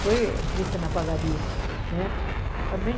Foi triste na padaria, né? Também